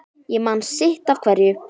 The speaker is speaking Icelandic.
Ég man sitt af hverju